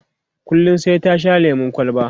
kullum sai ta Sha lemun kwalba